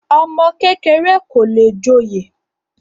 ọmọ kékeré kò le joyè